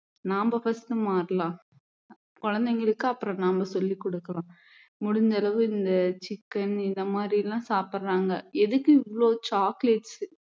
நாம first மாறலாம் குழந்தைகளுக்கு அப்புறம் நாம சொல்லிக் கொடுக்கலாம் முடிஞ்ச அளவு இந்த chicken இந்த மாதிரி எல்லாம் சாப்பிடுறாங்க எதுக்கு இவ்வளவு chocolates